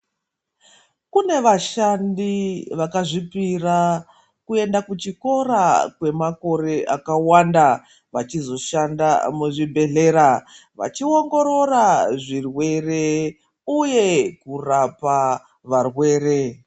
Kune vashandi vakazvipira kuenda kuchikora kwemakore akawanda vachizoshanda muzvibhedhlera vachiongorora zvirwere uye kurapa varwere.